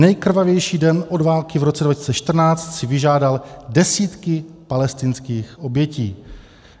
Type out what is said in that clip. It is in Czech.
Nejkrvavější den od války v roce 2014 si vyžádal desítky palestinských obětí.